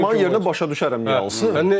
Nərimanın yerinə başa düşərəm niyə alsın.